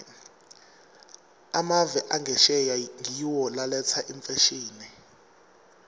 emave angesheya ngiwo laletsa imfashini